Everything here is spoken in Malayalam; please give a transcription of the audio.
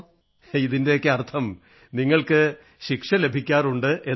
ചിരിച്ചുകൊണ്ട് ഇതിന്റെയർഥം നിങ്ങൾക്ക് ശിക്ഷ ലഭിക്കാറുണ്ടെന്നാണ്